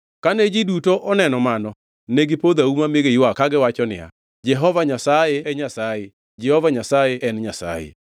Kane ji duto oneno mano, negipodho auma mi giywak kagiwacho niya, “Jehova Nyasaye e Nyasaye! Jehova Nyasaye en Nyasaye!”